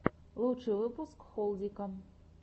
лучший выпуск холдика